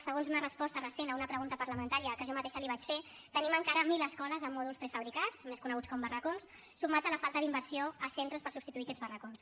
segons una resposta recent a una pregunta parlamentària que jo mateixa li vaig fer tenim encara mil escoles en mòduls prefabricats més coneguts com a barracons sumat a la falta d’inversió a centres per substituir aquests barracons